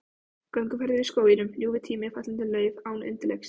Gönguferðir í skóginum, ljúfur tími, fallandi lauf án undirleiks.